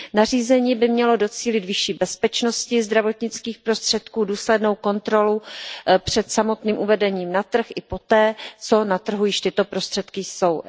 Nařízení by mělo docílit vyšší bezpečnosti zdravotnických prostředků, důslednou kontrolu před samotným uvedením na trh i poté, co na trhu již tyto prostředky jsou.